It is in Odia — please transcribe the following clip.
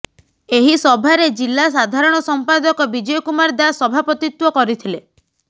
ଏହି ସଭାରେ ଜିଲ୍ଲା ସାଧାରଣ ସମ୍ପାଦକ ବିଜୟ କୁମାର ଦାଶ ସଭାପତିତ୍ୱ କରିଥଲେ